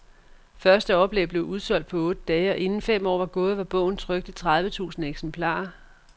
Første oplag blev udsolgt på otte dage, og inden fem år var gået, var bogen trykt i tredive tusind eksemplarer.